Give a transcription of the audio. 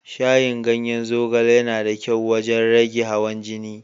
Shayin ganyen zogale yana da kyau wajen rage hawan jini.